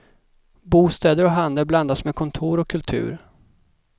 Bostäder och handel blandas med kontor och kultur.